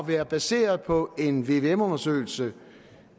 være baseret på en vvm undersøgelse